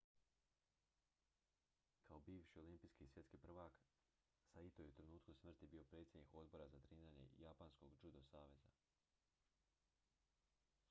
kao bivši olimpijski i svjetski prvak saito je u trenutku smrti bio predsjednik odbora za treniranje japanskog judo saveza